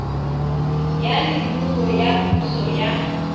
ya leruo ya puso ya